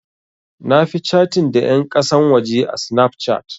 Na fi catin da ƴan ƙasan waje a Snapchat.